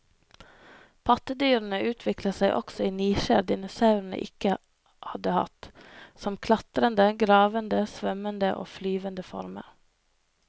Pattedyrene utviklet seg også i nisjer dinosaurene ikke hadde hatt, som klatrende, gravende, svømmende og flyvende former.